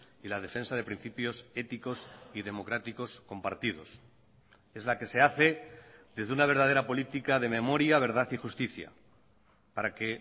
y la defensa de principios éticos y democráticos compartidos es la que se hace desde una verdadera política de memoria verdad y justicia para que